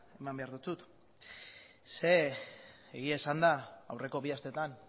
eman behar dizut zeren eta egia esanda aurreko bi astetan